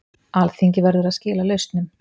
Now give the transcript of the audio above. Alþingi verður að skila lausnum